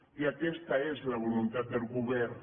i aquesta és la voluntat del govern